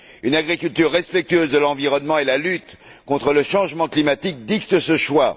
Une agriculture respectueuse de l'environnement et la lutte contre le changement climatique dictent ce choix.